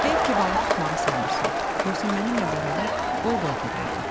Heyf ki, balıq tutmağı sevmirən, yoxsa mənimlə bərabər Volqaya gedərdik.